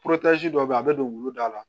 dɔ bɛ yen a bɛ don wulu da la